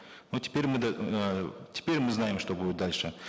ну теперь мы эээ теперь мы знаем что будет дальше